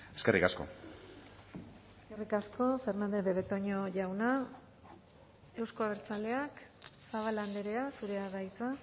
eskerrik asko eskerrik asko fernandez de betoño jauna euzko abertzaleak zabala andrea zurea da hitza